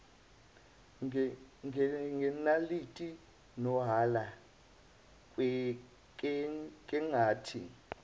ngenaliti nohala kengithi